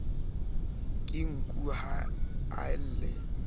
ke nku ha a lle